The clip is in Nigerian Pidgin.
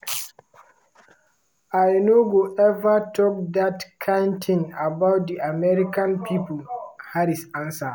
"i no go eva tok dat kain tin about di american pipo" harris answer.